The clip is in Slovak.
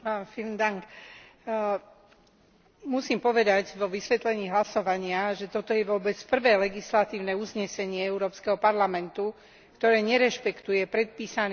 Musím povedať vo vysvetlení hlasovania, že toto je vôbec prvé legislatívne uznesenie Európskeho parlamentu, ktoré nerešpektuje predpísaný právny charakter legislatívnych uznesení.